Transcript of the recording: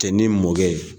Cɛ ni mɔkɛ ye